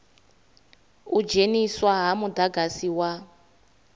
u dzheniswa ha mudagasi wa